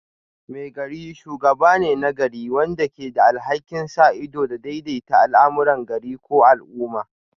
Maigari shugaba ne na gari wanda ke da alhakin sa ido da daidaita al'amuran gari ko al'umma